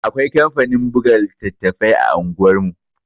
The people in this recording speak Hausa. Akwai kamfanin buga littattafai a unguwar mu